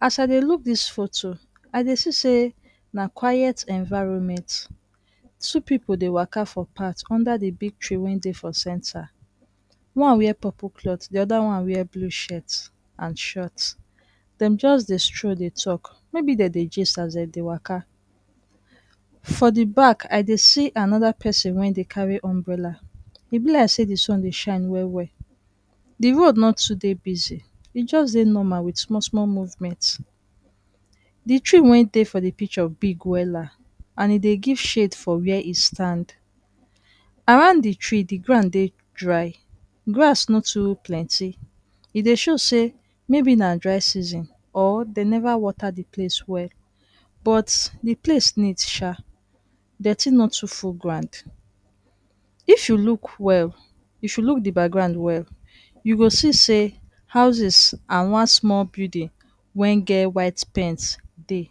As I dey look dis foto, i dey see say na quiet environment. Two pipu dey waka for pat under dey di big tree wen dey for centre. One wear purple cloth, di oda one wear blue shet and short. Dem just dey stroll dey tok, maybe dem dey gist as dem dey waka. For di back, I dey see anoda pesin wen dey carey umbrella. E be like say di sun dey shine well well. Di road no too dey busy, e just dey normal with sumol sumol movement. Di tree wen dey for di picture big wella and e dey give shade for where e stand. Around di tree, di ground dey dry. Grass no too plenty. E dey show say maybe na dry season or dey never water di place well. But di place neat sha. Detty no too full ground. If you look well, if you look di background well, ypu go see say houses and one sumol building wen get white paint dey.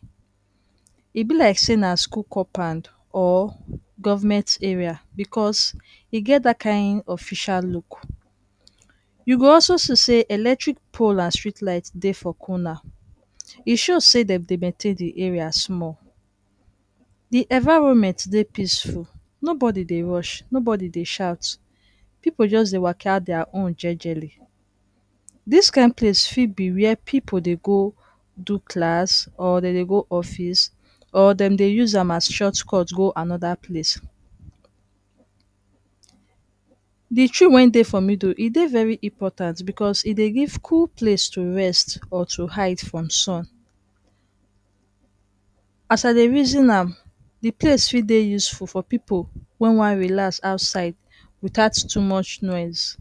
E be like na school compan or govment area becos e get dat kain official look. You go also see say electric pole and street light dey for corner. E show say dem dey maintain di area sumol. De environment dey peaceful, nobody dey rush, nobody dey shout, pipu just dey waka dia own jejely. Dis kain place fit be wey pipu dey go do class, or dey dey go office or dem dey use am as shortcut go anoda place. Di tree wen dey for middle e dey very important becos e dey give cool place to rest or to hide from sun. As i dey reason am, di place fit dey useful for pipu wen wan relax outside without too much noise.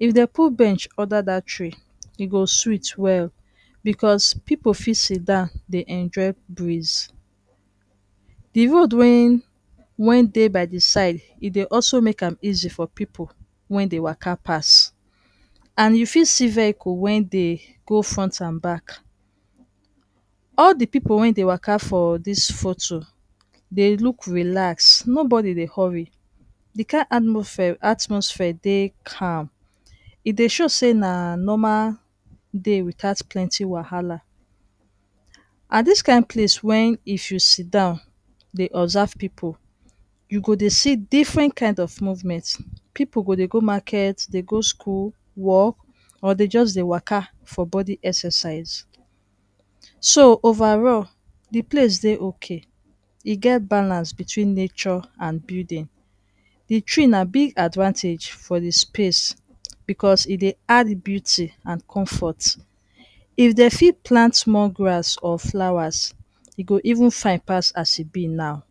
If dem put bench under dat tree, e go sweet well, becos pipu fit sidon dey enjoy breeze. Di road wen wen dey by di side e dey also make am easy for pipu wen dey waka pass and you fit see vehicle wen dey go front and back. All di pipu wen dey waka for dis foto dey look relax, nobodi dey hurry, di kain atmosphere dey calm. E dey show say na normal day without plenty wahala. And dis kain place wen if you siddon dey observe pipu, you go dey see differen kind of movement. Pipu go dey go market, dey go school, work, or dey just dey waka for bodi exercise. So overall, di place dey okay. E get balance between nature and building. Di tree na big advantage for dis space becos e dey add beauty amd comfort. If dem fit plant more grass or flowers, e go even fine pass as e be now.